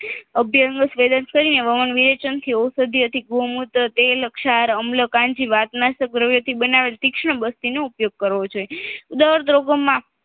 અભિયાંગ વેદન કરીને વવન વિવેચન કરીને ઔષધિયોથી ગૌમૂત્ર તેલ ક્ષાર અમ્લ કાંજી વતના સગ્રવ્યથી તીક્ષ્ણ બસ્તીનો ઉપયોગ કરવો જોઈએ